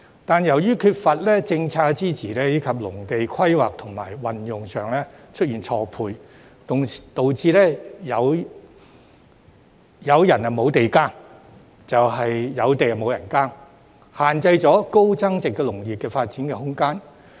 但是，由於缺乏政策支持，以及土地規劃和運用上出現錯配，導致有人無地耕、有地無人耕，限制了高增值農業的發展空間。